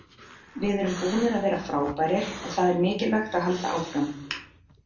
Við erum búnir að vera frábærir og það er mikilvægt að halda áfram.